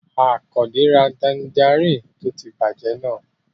Àkàndé ra tanjarínnì tó ti bàjẹ́ náà